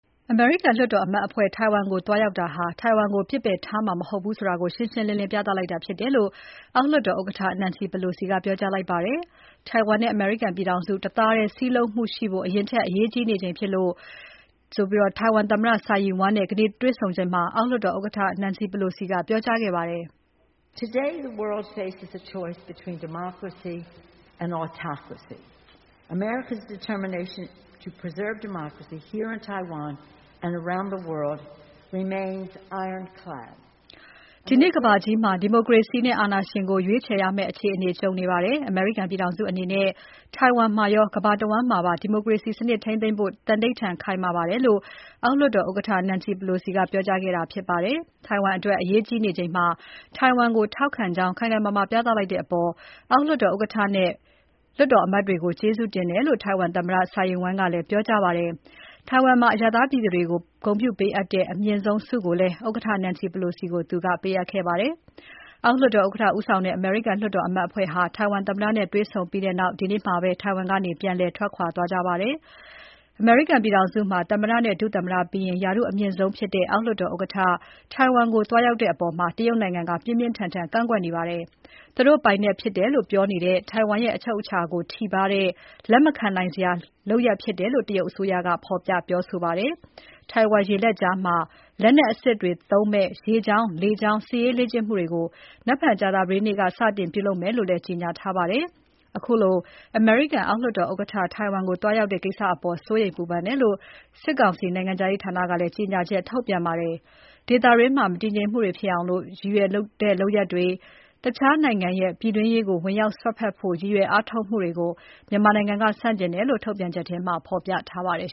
အမေရိကန်လွှတ်တော်အမတ်အဖွဲ့ ထိုင်ဝမ်ကို သွားရောက်တာဟာ ထိုင်ဝမ်ကို ပစ်ပယ်ထားမှာ မဟုတ်ဘူးဆိုတာ ရှင်းရှင်းလင်းလင်း ပြသလိုက်တာဖြစ်တယ်လို့ အောက်လွှတ်တော်ဥက္ကဋ္ဌ Nancy Pelosi က ပြောကြားလိုက်ပါတယ်။ ထိုင်ဝမ်နဲ့ အမေရိကန်ပြည်ထောင်စု တသားတည်း စည်းလုံးမှုရှိဖို့ အရင်ထက် အရေးကြီးနေချိန်ဖြစ်တယ်လို့ ထိုင်ဝမ်သမ္မတ Tsai Ing-wen နဲ့ ဒီနေ့ တွ့ဆုံစဉ်မှာ အောက်လွှတ်တော် ဥက္ကဋ္ဌ Nancy Pelosi ကပြောကြားခဲ့ပါတယ်။ “ဒီနေ့ကမ္ဘာကြီးမှာ ဒီမိုကရေစီနဲ့ အာဏာရှင်ကို ရွေးချယ်ရမယ့် အခြေအနေကြုံနေပါတယ်။ အမေရိကန်ပြည်ထောင်စုအနေနဲ့ ထိုင်ဝမ်မှာရော ကမ္ဘာတဝန်းမှာပါ ဒီမိုကရေစီစနစ်ထိန်းသိမ်းဖို့ သန္နိဌာန်ခိုင်မာပါတယ်” လို့ အောက်လွှတ်တော် ဥက္ကဋ္ဌ Nancy Pelosi က ပြောကြားခဲ့တာဖြစ်ပါတယ်။ ထိုင်ဝမ်အတွက် အရေးကြီးနေချိန်မှာ ထိုင်ဝမ်ကိုထောက်ခံကြောင်း ခိုင်ခိုင်မာမာပြသလိုက်တဲ့အပေါ် အောက်လွှတ်တော်ဥက္ကဋ္ဌနဲ့ လွှတ်တော်အမတ်တွေကို ကျေးဇူးတင်တယ်လို့ ထိုင်ဝမ်သမ္မတ Tsai Ing-wen ကလည်း ပြောကြားခဲ့ပါတယ်။ ထိုင်ဝမ်မှာ အရပ်သားပြည်သူတွေကို ဂုဏ်ပြုပေးအပ်တဲ့ အမြင့်ဆုံး Order of the Propitious Clouds ဆုကိုလည်း ဥက္ကဋ္ဌ Nancy Pelosi ကို ပေးခဲ့ပါတယ်။ အောက်လွှတ်တော်ဥက္ကဋ္ဌဦးဆောင်တဲ့ အမေရိကန်လွှတ်တော်အမတ်အဖွဲ့ဟာ ထိုင်ဝမ်သမ္မတနဲ့ တွေ့ဆုံပြီးနောက် ဒီနေ့ပဲ ထိုင်ဝမ်ကနေ ပြန်လည်ထွက်ခွာသွားကြပါတယ်။ အမေရိကန်ပြည်ထောင်စုမှာ သမ္မတနဲ့ ဒုသမ္မတပြီးရင် ရာထူးအမြင့်ဆုံးဖြစ်တဲ့ အောက်လွှတ်တော်ဥက္ကဋ္ဌ ထိုင်ဝမ်ကို သွားရောက်ခဲ့တဲ့အပေါ် တရုတ်နိုင်ငံက ပြင်းပြင်းထန်ထန် ကန့်ကွက်နေပါတယ်။ သူတို့ပိုင်နက်ဖြစ်တယ်လို့ ပြောနေတဲ့ ထိုင်ဝမ် ရဲ့အချုပ်အခြာကို ထိပါးတဲ့ လက်မခံနိုင်တဲ့လုပ်ရပ်ဖြစ်တယ်လို့ တရုတ်အစိုးရက ဖော်ပြပြောဆိုခဲ့ပါတယ်။ ထိုင်ဝမ်ကျွန်းရေလက်ကြားမှာ လက်နက်အစစ်တွေသုံးမယ့် ရေကြောင်း လေကြောင်း စစ်ရေးလေ့ကျင့်မှုတွေကို နက်ဖြန်ကြာသပတေးနေ့က စတင်ပြုလုပ်မယ်လို့လည်း ကြေညာထားပါတယ်။ ခုလို အမေရိကန်အောက်လွှတ်တော် ဥက္ကဋ္ဌ ထိုင်ဝမ်ကို သွားရောက်တဲ့ကိစ္စအပေါ် စိုးရိမ်ပူပန်တယ်လို့ စစ်ကောင်စီနိုင်ငံခြားရေးဌာနက ကြေညာချက်ထုတ်ပြန်ပါတယ်။ ဒေသတွင်း မတည်ငြိမ်မှုတွေ ဖြစ်အောင် ရည်ရွယ်တဲ့လုပ်ရပ်တွေနဲ့ တခြားနိုင် ငံရဲ့ ပြည်တွင်းရေးကို ဝင်ရောက်စွက်ဖက်ဖို့ ရည်ရွယ်အားထုတ်မှုတွေကို မြန်မာနိုင် ငံက ဆန့်ကျင်တယ်လို့ ထုတ်ပြန်ချက်မှာ ပြောထားပါတယ်